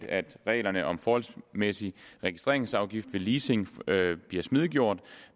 at reglerne om forholdsmæssig registreringsafgift ved leasing bliver smidiggjort